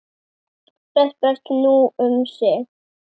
Bless, bless, nú um sinn.